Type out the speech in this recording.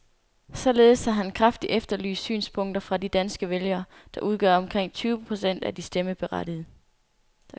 Således har han kraftigt efterlyst synspunkter fra de danske vælgere, der udgør omkring tyve procent af de stemmeberettigede.